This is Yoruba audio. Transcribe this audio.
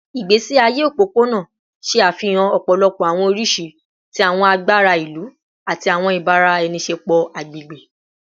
Igbesi aye opopona ṣe afihan ọpọlọpọ awọn oriṣi ti awọn agbara ilu ati awọn ibaraenisepo agbegbe